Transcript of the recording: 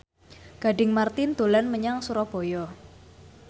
Gading Marten dolan menyang Surabaya